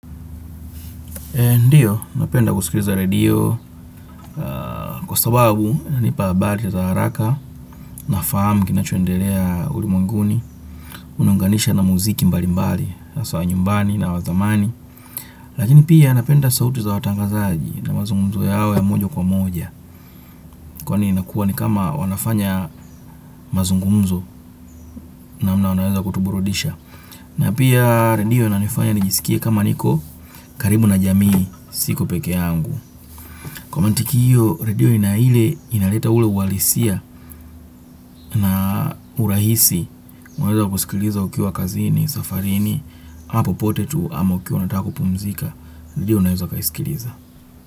Ndiyo, napenda kusikiliza radio kwa sababu hunipa habari za haraka, nafahamu kinachoendelea ulimunguni, unaunganisha na muziki mbalimbali, za nyumbani na wazamani. Lakini pia napenda sauti za watangazaji na mazungumzo yao ya moja kwa moja. Kwani inakuwa ni kama wanafanya mazungumzo na wanaweza kutuburudisha. Na pia radio inanifanya nijisikie kama niko, karibu na jamii, siko peke yangu. Kwa matukio, redio ina ile inaleta ule uhalisia na urahisi. Unaweza kusikiliza ukiwa kazini, safarini, au popote tu ama ukiwa unataka kupumzika. Redio unaweza kaisikiliza.